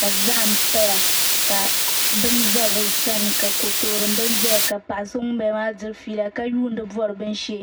ka zahim paya ka bɛni za be sani ka kotori bɛni zaya ka paɣ' so ŋɔ ba la. diri yɛla ka yuni bori bɛni she